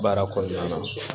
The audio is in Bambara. Baara kɔnɔna na